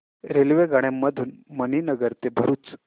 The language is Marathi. रेल्वेगाड्यां मधून मणीनगर ते भरुच